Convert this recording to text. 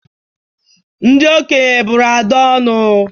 Ndị okenye bụrụ Ada ọnụ.